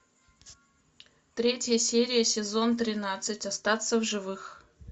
третья серия сезон тринадцать остаться в живых